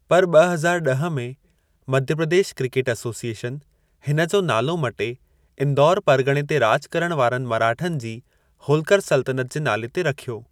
पर ॿ हज़ार ॾह में, मध्य प्रदेश क्रिकेट एसोसिएशन हिन जो नालो मटे इंदौर परॻणे ते राॼु करणु वारनि मराठनि जी होल्कर सल्तनतु जे नाले ते रखियो।